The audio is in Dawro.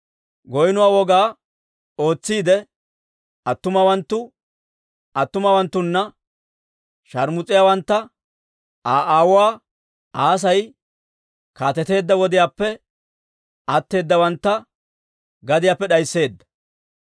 Goynno woga ootsiide attumawanttu attumawanttuna sharmus'iyaawantta, Aa aawuu Asay kaateteedda wodiyaappe atteeddawantta gadiyaappe d'aysseedda.